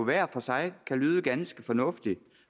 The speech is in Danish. hver for sig kan lyde ganske fornuftigt